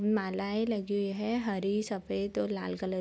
उम्म मालाएं लगी हुई है हरी सफेद और लाल कलर --